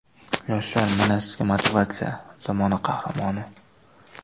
Yoshlar, mana sizga motivatsiya, zamona qahramoni.